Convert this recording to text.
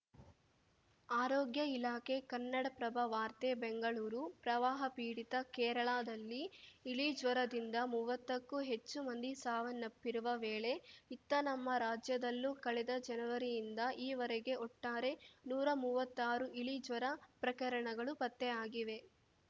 ಆರೋಗ್ಯ ಇಲಾಖೆ ಕನ್ನಡಪ್ರಭ ವಾರ್ತೆ ಬೆಂಗಳೂರು ಪ್ರವಾಹಪೀಡಿತ ಕೇರಳದಲ್ಲಿ ಇಲಿಜ್ವರದಿಂದ ಮುವತ್ತಕ್ಕೂ ಹೆಚ್ಚು ಮಂದಿ ಸಾವನ್ನಪ್ಪಿರುವ ವೇಳೆ ಇತ್ತ ನಮ್ಮ ರಾಜ್ಯದಲ್ಲೂ ಕಳೆದ ಜನವರಿಯಿಂದ ಈವರೆಗೆ ಒಟ್ಟಾರೆ ನೂರಾ ಮುವತ್ತಾರು ಇಲಿ ಜ್ವರ ಪ್ರಕರಣಗಳು ಪತ್ತೆಯಾಗಿವೆ